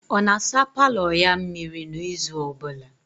Ọ na-asa paalọ ya mmịrị n'izu ọbụla?